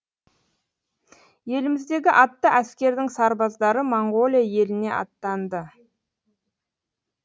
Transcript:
еліміздегі атты әскердің сарбаздары моңғолия еліне аттанды